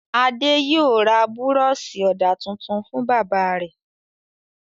Adé yóò ra búrọ́ṣì ọ̀dà tuntun fún bàbá rẹ̀.